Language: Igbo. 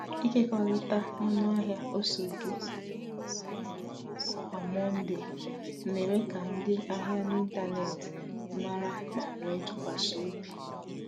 Ịkekọrịta ọnụahịa ose gị kwa Mọnde na-eme ka ndị ahịa n’ịntanetị mara ma nwee ntụkwasị obi.